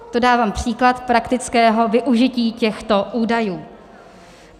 To dávám příklad praktického využití těchto údajů.